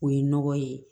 O ye nɔgɔ ye